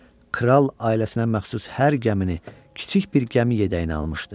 Kral ailəsinə məxsus hər gəmini kiçik bir gəmi yədəyinə almışdı.